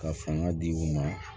Ka fanga di u ma